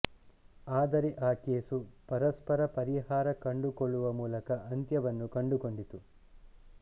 ಆದರೆ ಆ ಕೇಸು ಪರಸ್ಪರ ಪರಿಹಾರ ಕಂಡುಕೊಳ್ಳುವ ಮೂಲಕ ಅಂತ್ಯವನ್ನು ಕಂಡುಕೊಂಡಿತು